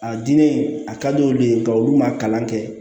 A diinɛ a ka di olu ye ka olu ma kalan kɛ